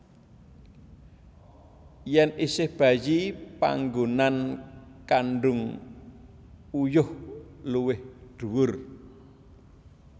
Yen isih bayi panggonan kandhung uyuh luwih dhuwur